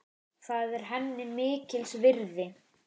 Það er henni mikils virði.